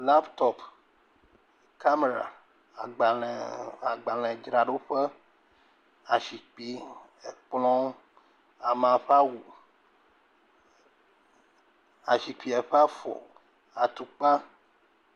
Laptop, kamera, agbalẽ agbalẽdzra ɖo ƒe. Asikpui, ekplɔ, Amea ƒe awu, ezikpuia ƒe afɔ. Atikla.